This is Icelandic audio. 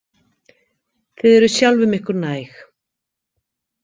Þið eruð sjálfum ykkur næg.